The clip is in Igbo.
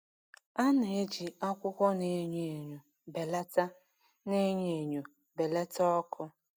A na-eji akwụkwọ na-enyo enyo belata na-enyo enyo belata ọkụ.